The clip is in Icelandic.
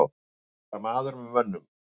Að vera maður með mönnum